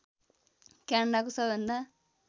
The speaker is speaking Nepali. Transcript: क्यानडाको सबैभन्दा